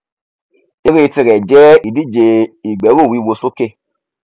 ẹré tirẹ jẹ ìdíje ìgbẹrùwíwo sókè